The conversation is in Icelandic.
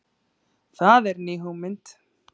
Það er ný hugmynd